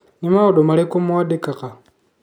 Nĩ maũndũ marĩkũ wandĩkaga?